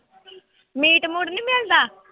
Meat ਮੂਟ ਨੀ ਮਿਲਦਾ?